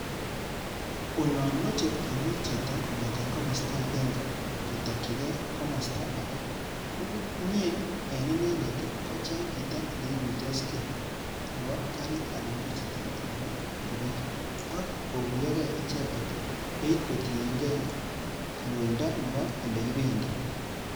Oloon moche kimuut chito kong'eten komostoo agenge kotokying'ei komostoo age, neindet ko kocheng chito neikuitosgee Nebo garit anan ko chito to nebo pikipiki. Ako koguyogee icheket beit kotiengee loindoo Nebo olekibendii.